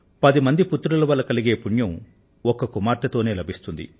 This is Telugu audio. పది మంది పుత్రుల వల్ల కలిగే పుణ్యం ఒక్క కుమార్తె తోనే లభిస్తుంది